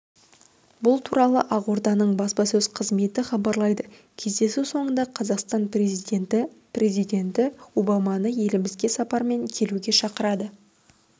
бұл туралы ақорданың баспасөз қызметі хабарлайды кездесу соңында қазақстан президенті президенті обаманы елімізге сапармен келуге шақырды